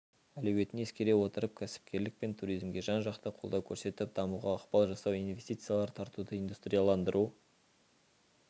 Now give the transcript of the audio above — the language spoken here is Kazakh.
әлеуетін ескере отырып кәсіпкерлік пен туризмге жан-жақты қолдау көрсетіп дамуға ықпал жасау инвестициялар тартуды индустрияландыру